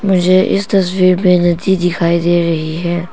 मुझे इस तस्वीर में नदी दिखाई दे रही है।